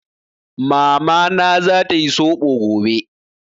Mamana za ta yi Soɓo gobe.